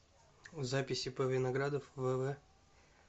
запись ип виноградов вв